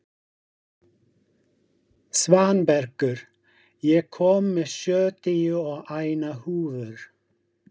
Svanbergur, ég kom með sjötíu og eina húfur!